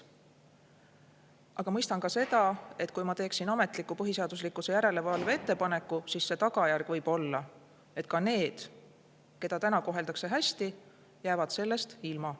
Aga ma mõistan ka seda, et kui ma teeksin ametliku põhiseaduslikkuse järelevalve ettepaneku, siis tagajärg võib olla, et ka need, keda täna koheldakse hästi, jäävad sellest ilma.